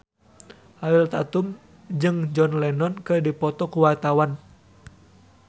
Ariel Tatum jeung John Lennon keur dipoto ku wartawan